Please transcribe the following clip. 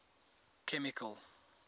chemical